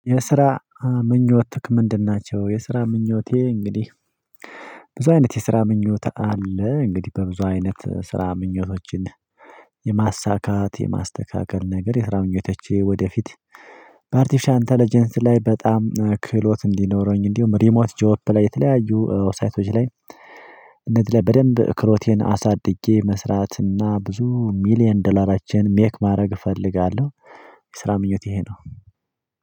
የስራ ምኞትክ ምንድን ናቸው? የስራ ምኞቴ እንግዲህ ብዙ አይነት የስራ ምኞት አለ። እንግዲህ በብዙ አይነት ስራ ምኞቶችን የማሳካት የማስተካከል ነገር የስራ ምኞቶቼ ወደፊት በአርቲፊሻል እንተለጀንስ ላይ በጣም ክህሎት እንዲኖረኝ እንዲሁ ሪሞት ጆፕ ላይ የተለያዩ ሳይቶች ላይ እንደዚህ በደንብ ክህሎቴን አሳድጌ መስራትና ብዙ ሚሊየን ደላራችን ሜክ ማድረግ እፈልጋለሁ። የስራ ምኞቴ ይሄ ነው።